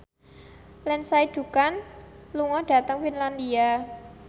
Lindsay Ducan lunga dhateng Finlandia